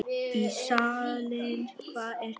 Ísalind, hvað er klukkan?